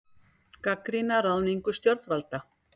Gagnrýna ráðningu stjórnvalda